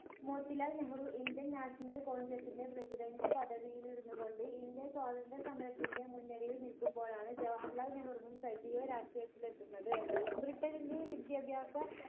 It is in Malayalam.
Motilal Nehru indian national congress ന്റെ president പദവിയിലിരുന്നു കൊണ്ട് indian സ്വതന്ത്ര്യ സമരത്തിന്റെ മുൻ നിരയിൽ നിൽക്കുമ്പോഴാണ് ജവഹർലാൽ നെഹ്‌റുവും സജീവ രാഷ്ട്രീയത്തിലെത്തുന്നത് ബ്രിട്ടണിന്റെ വിദ്യാഭ്യാസ